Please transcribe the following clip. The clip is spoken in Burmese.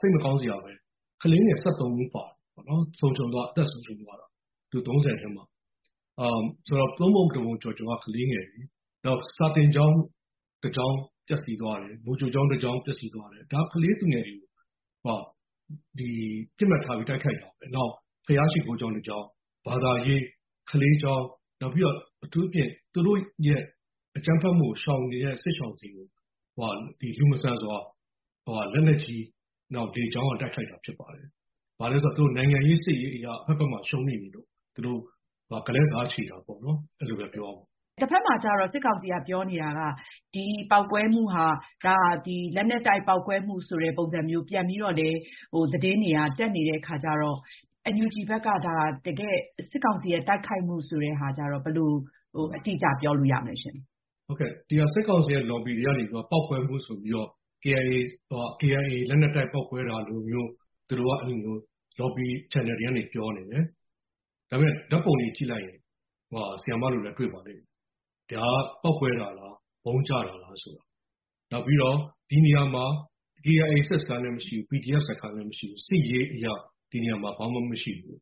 စိတ်မကောင်းစရာပဲ၊ ကလေးငယ် ၁၃ ဦး အသက်ဆုံးရှုံးသွားတယ်။ လူ ၃၀ မှာ။ ဆိုတော့ သုံးပုံတပုံကျော်ကျော်က ကလေးငယ်တွေ။ နောက် စာသင်ကျောင်းတကျောင်းပျက်စီးသွားတယ်။ မူကြိုကျောင်းတကျောင်းပျက်စီးသွားတယ်။ ဒါ ကလေးသူငယ်တွေကို ပစ်မှတ်ထားပြီး တိုက်ခိုက်တာ။ နောက် ဘုရားရှိခိုးကျောင်းတကျောင်း-ဘာသာရေး၊ ကလေးကျောင်း၊ အထူးသဖြင့် သူတို့ရဲ့အကြမ်းဖက်မှုကိုရှောင်နေတဲ့ စစ်ရှောင်တွေကို လူမဆန်စွာ လက်နက်ကြီး နောက် လေကြောင်းက တိုက်ခိုက်တာဖြစ်တယ်။ ဘာလို့လဲဆိုတော့ နိုင်ငံရေး၊ စစ်ရေးအရ အဖက်ဘက်မှာ ရှုံးနိမ့်နေလို့ ဂလဲ့စားချေတာပေါ့နော်၊ အဲလိုပဲပြောရမှာပေါ့။ အင်ကြင်းနိုင်။ ။ တဘက်မှာကျတော့ စစ်ကောင်စီက ပြောနေတာက ဒီပေါက်ကွဲမှုဟာ လက်နက်တိုက်ပေါက်ကွဲမှုဆိုတဲ့ပုံစံမျိုး ပြန်ပြီးတော့လည်း သတင်းတွေက တက်နေတဲ့အခါကျတော့ NUG ဘက်က ဒါ စစ်ကောင်စီရဲ့တိုက်ခိုက်မှုလို့ ဘယ်လို အတိအကျပြောလို့ရမလဲရှင့်။ ဦးကျော်ဇော။ ။ စစ်ကောင်စီရဲ့ lobby တွေကနေပြီးတော့ KIA လက်နက်တိုက် ပေါက်ကွဲမှုဆိုပြီးတော့ ပေါက်ကွဲတာလိုမျိုး၊ သူတို့က အဲလိုမျိုး lobby channel တွေကနေပြီးတော့ ပြောနေတယ်။ ဒါပေမဲ့ ဓာတ်ပုံတွေကြည့်လိုက်ရင် ဆရာမတို့လည်း တွေ့ပါလိမ့်မယ်။ ဒါက ပေါက်ကွဲတာလား၊ ဗုံးကျတာလားဆိုတာ။ နောက်ပြီးတော့ ဒီနေရာမှာ KIA စစ်စခန်းလည်းမရှိဘူး၊ PDF စခန်းလည်းမရှိဘူး။ စစ်ရေးအရ ဒီနေရာမှာ ဘာမှမရှိဘူး